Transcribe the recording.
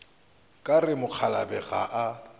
ka re mokgalabje ga a